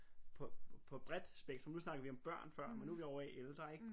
På på bredt spektrum nu snakkede vi om børn før men nu er vi ovre i ældre ik?